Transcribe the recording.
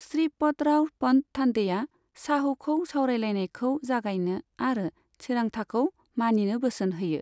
श्रीपतराव पन्त थान्दैआ शाहूखौ सावरायलायनायखौ जागायनो आरो थिरांथाखौ मानिनो बोसोन होयो।